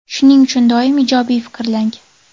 Shuning uchun doim ijobiy fikrlang.